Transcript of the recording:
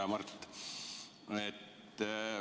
Hea Mart!